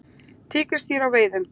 Tígrisdýr á veiðum.